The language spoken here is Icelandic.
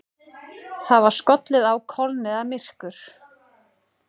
Það var skollið á kolniðamyrkur.